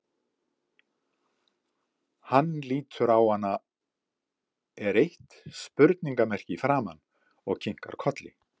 Hann lítur á hana, er eitt spurningamerki í framan, og kinkar kolli.